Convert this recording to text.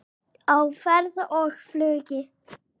Á ferð og flugi